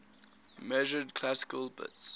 measured classical bits